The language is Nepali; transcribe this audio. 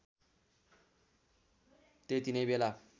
त्यति नै बेला